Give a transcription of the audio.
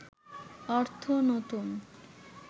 অর্থ নতুন